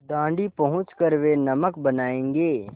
दाँडी पहुँच कर वे नमक बनायेंगे